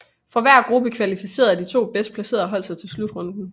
Fra hver gruppe kvalificerede de to bedst placerede hold sig til slutrunden